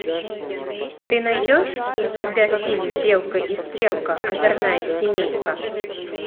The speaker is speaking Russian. ты найдешь у себя фильм белка и стрелка озорная семейка